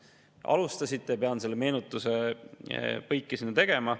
Teie alustasite, nii et pidin meenutusega põike sinna tegema.